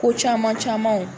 Ko caman caman